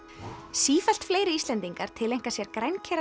sífellt fleiri Íslendingar tileinka sér